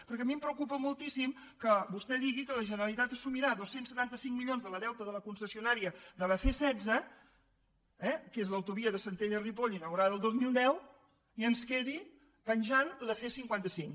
perquè a mi em preocupa moltíssim que vostè digui que la generalitat assumirà dos cents i setanta cinc milions del deute de la concessionària de la c setze eh que és l’autovia de centelles ripoll inaugurada el dos mil deu i ens quedi penjant la c cinquanta cinc